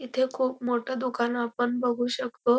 इथे खूप मोठं दुकान आपण बघू शकतो.